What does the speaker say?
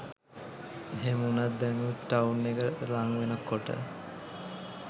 එහෙම වුණත් දැනුත් ටවුන් එක ලංවෙන කොට